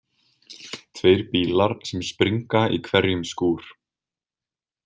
Tveir bílar sem springa í hverjum skúr.